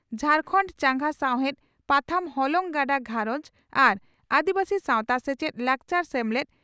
ᱡᱷᱟᱨᱠᱷᱟᱱᱰ ᱪᱟᱸᱜᱟ ᱥᱟᱣᱦᱮᱰ ᱯᱟᱛᱷᱟᱢ ᱦᱚᱞᱚᱝ ᱜᱟᱰᱟ ᱜᱷᱟᱨᱚᱸᱡᱽ ᱟᱨ ᱟᱹᱫᱤᱵᱟᱹᱥᱤ ᱥᱟᱣᱛᱟ ᱥᱮᱪᱮᱫ ᱞᱟᱠᱪᱟᱨ ᱥᱮᱢᱞᱮᱫ